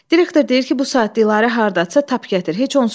Direktor deyir ki, bu saat Dilarə hardadırsa tap gətir.